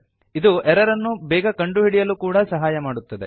ಇದು ಎರರ್ ಅನ್ನು ಬೇಗ ಕಂಡುಹಿಡಿಯಲು ಕೂಡಾ ಸಹಾಯ ಮಾಡುತ್ತದೆ